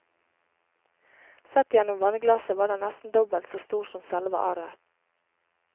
Sett gjennom vannglasset var den nesten dobbelt så stor som selve arret.